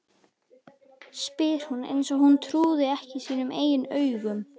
spyr hún eins og hún trúi ekki sínum eigin eyrum.